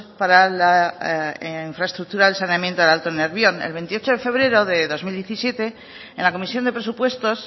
para la infraestructura del saneamiento del alto nervión el veintiocho de febrero de dos mil diecisiete en la comisión de presupuestos